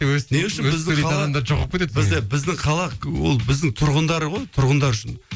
біздің қала ол біздің тұрғындары ғой тұрғындар үшін